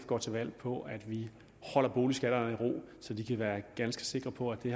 går til valg på at vi holder boligskatterne i ro så de kan være ganske sikre på at det